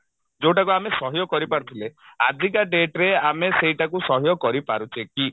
ଯଉଟାକୁ ଆମେ ସହ୍ୟ କରିପାରୁଥିଲେ ଆଜିକା date ରେ ଆମେ ସେଇଠାକୁ ସହ୍ୟ କରିପାରୁଛେ କି?